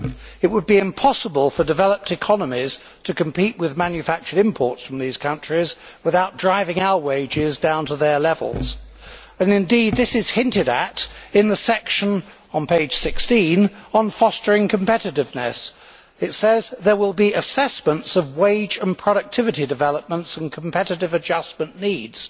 It would be impossible for developed economies to compete with manufactured imports from these countries without driving our wages down to their levels. Indeed, this is hinted at in the section on page 16, on fostering competitiveness. It says there will be assessments of wage and productivity developments and competitive adjustment needs'.